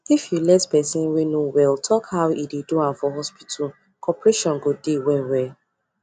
if you let person wey no well talk how e dey do am for hospital corporation go dey wellwell